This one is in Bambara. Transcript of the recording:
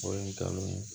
O ye ngalon ye